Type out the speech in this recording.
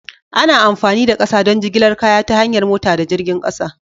Ana amfani da ƙasa don jigilar kaya ta hanyar mota da jirgin ƙasa.